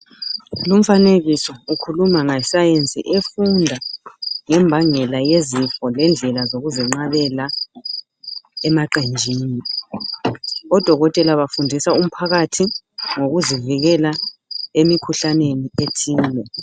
Lomfanekiso ukhuluma ngesayenzi efunda ngembangela yezifo lendlela zokuzenqabela emaqenjini. Odokotela bafundisa umphakathi ngokuzinikela emikhuhlaneni ethile.